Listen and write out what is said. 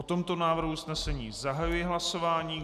O tomto návrhu usnesení zahajuji hlasování.